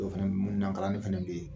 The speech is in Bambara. O fana mununankalanin fana bɛ yen